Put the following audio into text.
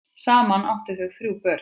Saman áttu þau þrjú börn.